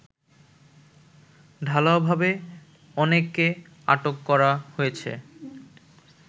ঢালাওভাবে অনেককে আটক করা হয়েছে